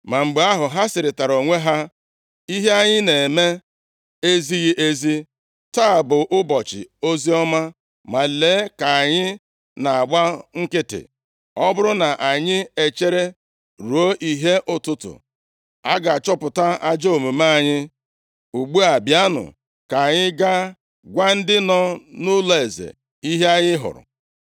Ma mgbe ahụ ha sịrịtara onwe ha, “Ihe anyị na-eme ezighị ezi. Taa bụ ụbọchị oziọma, ma lee ka anyị na-agba nkịtị. Ọ bụrụ na anyị echere ruo ìhè ụtụtụ, a ga-achọpụta ajọọ omume anyị. Ugbu a bịanụ, ka anyị gaa gwa ndị nọ nʼụlọeze, ihe anyị hụrụ.”